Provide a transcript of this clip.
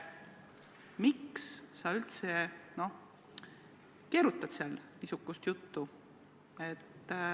Miks sa üldse keerutad seal niisugust juttu?